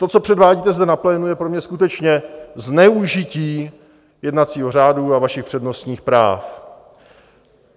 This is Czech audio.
To, co předvádíte zde na plénu, je pro mě skutečně zneužití jednacího řádu a vašich přednostních práv.